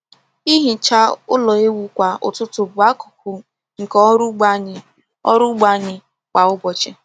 Ihicha ụlọ ewu kwa ụtụtụ bụ akụkụ nke ọrụ ugbo anyị ọrụ ugbo anyị kwa ụbọchị.